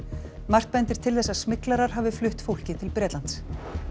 margt bendir til þess að smyglarar hafi flutt fólkið til Bretlands